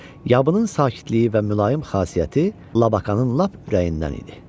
Yabının sakitliyi və mülayim xasiyyəti Labakanın lap ürəyindən idi.